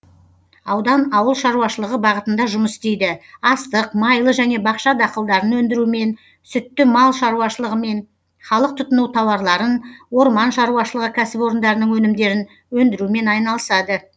аудан ауыл шаруашылығы бағытында жұмыс істейді астық майлы және бақша дақылдарын өндірумен сүтті мал шаруашылығымен халық тұтыну тауарларын орман шаруашылығы кәсіпорындарының өнімдерін өндірумен айналысады